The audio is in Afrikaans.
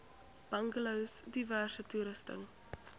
bungalows diverse toerusting